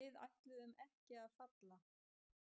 Við ætluðum ekki að falla